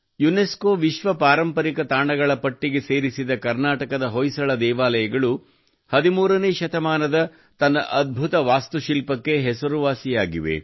UNESCO ವಿಶ್ವ ಪಾರಂಪರಿಕ ತಾಣಗಳ ಪಟ್ಟಿಗೆ ಸೇರಿಸಿದ ಕರ್ನಾಟಕದ ಹೊಯ್ಸಳ ದೇವಾಲಯಗಳು 13 ನೇ ಶತಮಾನದ ತನ್ನ ಅದ್ಭುತ ವಾಸ್ತುಶಿಲ್ಪಕ್ಕೆ ಹೆಸರುವಾಸಿಯಾಗಿದವೆ